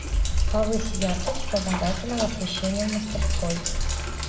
повысь яркость вспомогательного освещения в мастерской